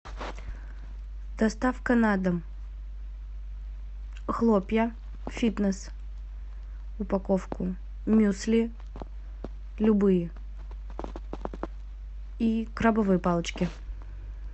доставка на дом хлопья фитнес упаковку мюсли любые и крабовые палочки